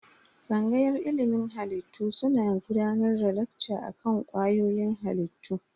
Tsangayar ilimin halittu suna gudanar da lekca akan kwayoyin halittu.